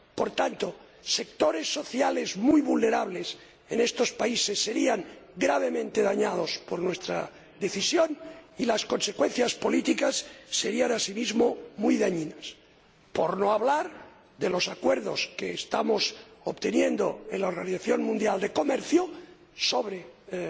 Por tanto, sectores sociales muy vulnerables en estos países se verían gravemente perjudicados por nuestra decisión y las consecuencias políticas serían asimismo muy dañinas, por no hablar de los acuerdos que estamos obteniendo en la Organización Mundial del Comercio sobre los